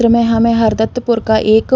में हमें हरदत्तपुर का एक --